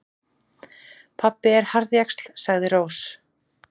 Pabbi er harðjaxl, sagði Rós.